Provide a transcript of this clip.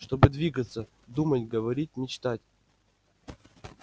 чтобы двигаться думать говорить мечтать